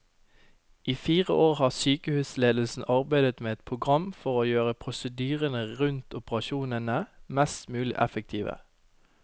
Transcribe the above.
I fire år har sykehusledelsen arbeidet med et program for å gjøre prosedyrene rundt operasjonene mest mulig effektive.